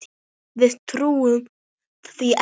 Við trúum því ekki.